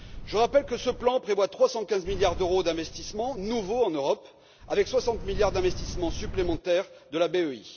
Je rappelle que ce plan prévoit 315 milliards d'euros d'investissements nouveaux en Europe, avec 60 milliards d'investissements supplémentaires de la BEI.